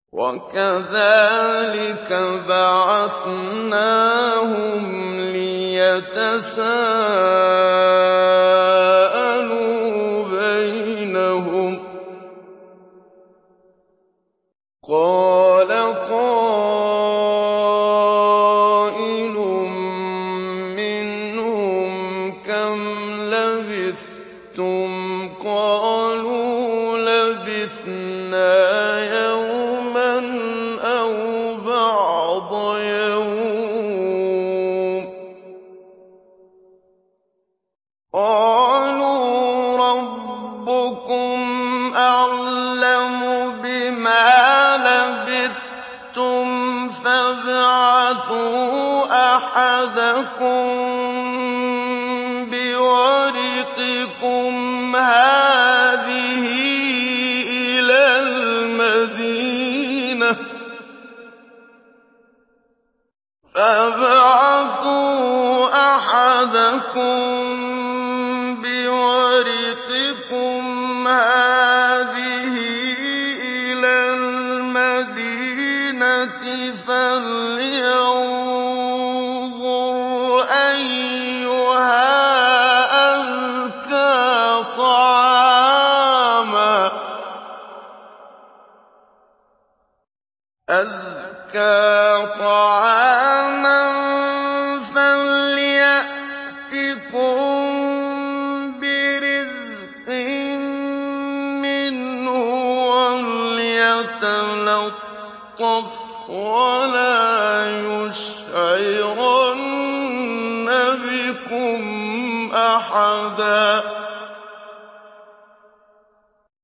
وَكَذَٰلِكَ بَعَثْنَاهُمْ لِيَتَسَاءَلُوا بَيْنَهُمْ ۚ قَالَ قَائِلٌ مِّنْهُمْ كَمْ لَبِثْتُمْ ۖ قَالُوا لَبِثْنَا يَوْمًا أَوْ بَعْضَ يَوْمٍ ۚ قَالُوا رَبُّكُمْ أَعْلَمُ بِمَا لَبِثْتُمْ فَابْعَثُوا أَحَدَكُم بِوَرِقِكُمْ هَٰذِهِ إِلَى الْمَدِينَةِ فَلْيَنظُرْ أَيُّهَا أَزْكَىٰ طَعَامًا فَلْيَأْتِكُم بِرِزْقٍ مِّنْهُ وَلْيَتَلَطَّفْ وَلَا يُشْعِرَنَّ بِكُمْ أَحَدًا